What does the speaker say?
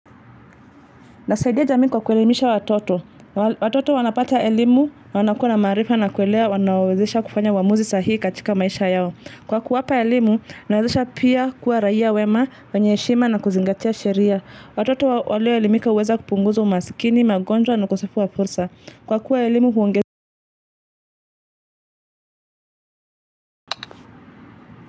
Nasaidia jamii kwa kuelimisha watoto. Watoto wanapata elimu, wanakuwa na maarifa na kuelewa, wanawezesha kufanya uamuzi saa hii katika maisha yao. Kwa kuwapa elimu, inawawezesha pia kuwa raia wema, wanye heshima na kuzingatia sheria. Watoto walioelimika huweza kupunguza umasikini, magonjwa na ukosefu wa fursa. Kwa kuwa elimu huonge.